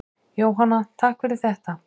Jóhanna: Takk fyrir þetta.